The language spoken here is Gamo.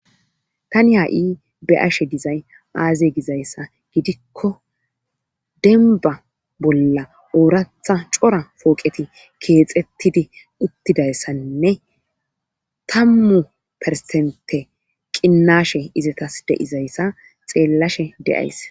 Tani ha'i be'ashe dizay azee gizayssa gidikko dembba bolla ooratha cora pooqeti keexxettidi uttidayssanne tammu persente qinnashe izatas de'izayssa xeellashe de'ays